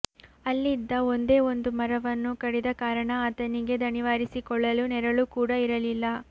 ಅಲ್ಲಿದ್ದ ಒಂದೇ ಒಂದು ಮರವನ್ನೂ ಕಡಿದ ಕಾರಣ ಆತನಿಗೆ ದಣಿವಾರಿಸಿಕೊಳ್ಳಲು ನೆರಳು ಕೂಡಾ ಇರಲಿಲ್ಲ